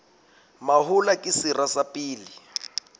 mahola ke sera sa pele